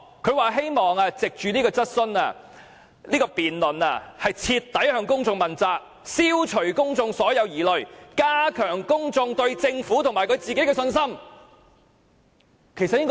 他表示希望藉着該場辯論徹底向公眾問責，消除公眾所有疑慮，加強公眾對政府和他的信心。